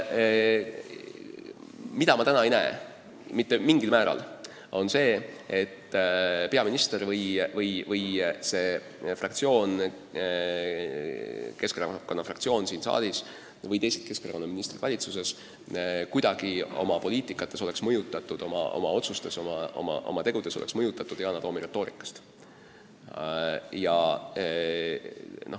Mida ma täna aga mitte mingil määral ei näe, on see, et peaminister või Keskerakonna fraktsioon siin saalis või teised Keskerakonna ministrid valitsuses on kuidagi oma poliitikas või oma otsustes ja oma tegudes mõjutatud Yana Toomi retoorikast.